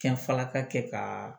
Fɛnfalaka kɛ ka